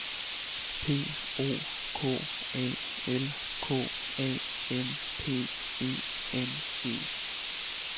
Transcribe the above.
P O K A L K A M P E N E